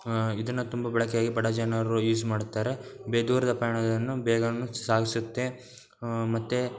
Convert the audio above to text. ಆಹ್ಹ್ ಇದನ್ನ ತುಂಬಾ ಬಳಕೆಗಾಗಿ ಬಡ ಜನರು ಯೂಸ್ ಮಾಡ್ತಾರೆ ದೂರದ ಪಯಣವನ್ನು ಬೇಗನೆ ಸಾಗಿಸುತ್ತೆ ಮತ್ತೆ--